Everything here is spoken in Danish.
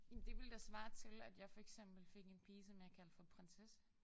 Jamen det ville da svare til at jeg for eksempel fik en pige som jeg kaldte for Prinsesse